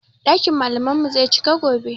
Ɗakin malaman mu zai cika gobe